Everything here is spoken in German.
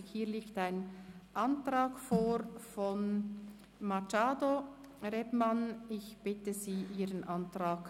Hier liegt ein Antrag von Grossrätin Machado Rebmann zu Artikel 137 vor.